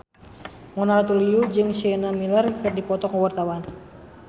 Mona Ratuliu jeung Sienna Miller keur dipoto ku wartawan